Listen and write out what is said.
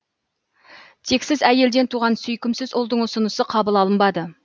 тексіз әйелден туған сүйкімсіз ұлдың ұсынысы қабыл алынбады